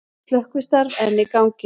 Slökkvistarf enn í gangi